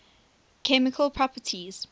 chemical properties